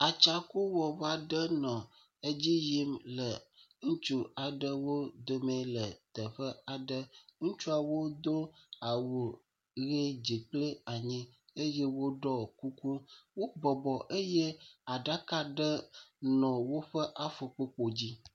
Atsãkuwɔva ɖe nɔ edzi yim le ŋutsu aɖewo dome le teƒe aɖe. Ŋutsuwo do awu ʋi dzi kple anyi eye woɖo kuku. Wobɔbɔ eye aɖaka ɖe nɔ woƒe afukpo kpo dzi.